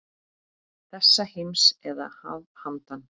Þessa heims eða að handan.